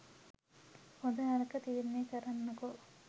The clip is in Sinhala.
හොඳ නරක තීරණය කරන්නකෝ